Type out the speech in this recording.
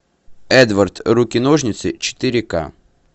эдвард руки ножницы четыре ка